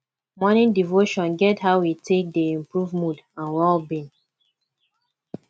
morning devotion get how e take dey improve mood and well being